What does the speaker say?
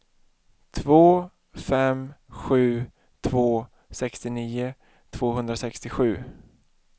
två fem sju två sextionio tvåhundrasextiosju